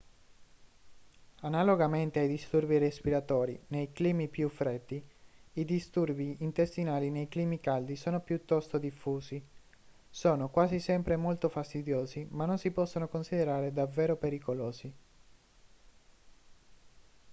analogamente ai disturbi respiratori nei climi più freddi i disturbi intestinali nei climi caldi sono piuttosto diffusi sono quasi sempre molto fastidiosi ma non si possono considerare davvero pericolosi